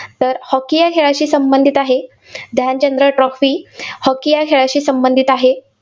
तर hockey या खेळाशी संबंधित आहे. ध्यानचंद्र trophy hockey या खेळाशी संबंधित आहे.